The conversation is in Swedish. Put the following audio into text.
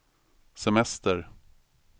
semester